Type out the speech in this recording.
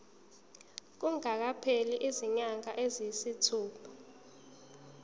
kungakapheli izinyanga eziyisithupha